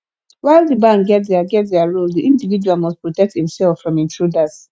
while di bank get their get their role di individual must protect im self from intruders